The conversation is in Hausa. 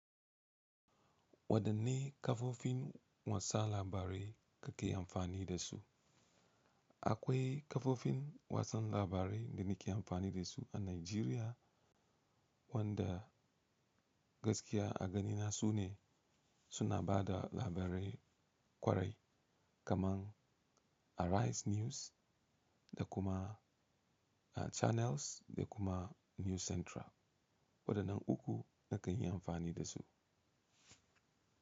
Wadanne kafofin watsa labarai kake amfani da su? Akwai kafofin wasan labarai da muke amfani da su a Najeriya, wanda gaskiya a ganina su ne suna ba da labarai ƙwarai kamar Arise News da kuma Channels da kuma News Central. Wadannan uku nakan yi amfani da su.